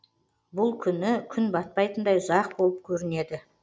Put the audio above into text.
бұл күні күн батпайтындай ұзақ болып көрінеді